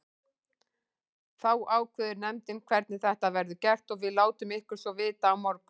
Þá ákveður nefndin hvernig þetta verður gert og við látum ykkur svo vita á morgun.